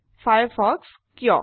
Firefox কিয়